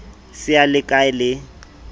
se a le hkae le